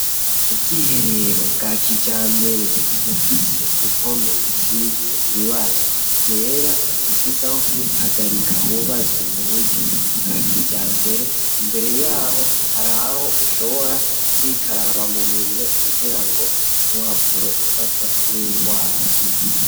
Ubwihe rero bwa kija mbere bufise impome zisize ibara ryera bufise aho kwihagarika hubatswe mu buryo bwa kija mbere imbere yaho hari aho ushobora kwikaraba mu minwe kugira ngo ntuhavure ufatwa n'ingwara.